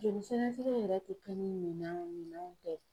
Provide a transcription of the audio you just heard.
Joli sɛgɛsɛgɛ yɛrɛ tɛ kɛ ni minɛnw minɛnw tɛ.